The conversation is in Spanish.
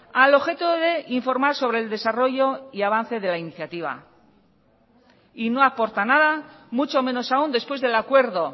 al objeto de informar sobre el desarrollo y avance de la iniciativa y no aporta nada mucho menos aún después del acuerdo